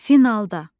Finalda.